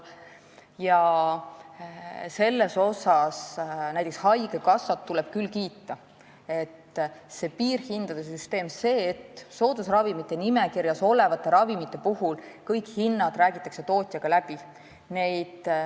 Selles mõttes tuleb küll haigekassat kiita, et on kehtestatud piirhindade süsteem ja soodusravimite nimekirjas olevate ravimite puhul räägitakse kõik hinnad tootjaga läbi.